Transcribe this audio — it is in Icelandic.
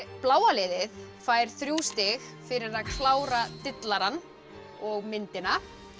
bláa liðið fær þrjú stig fyrir að klára Dillarann og myndina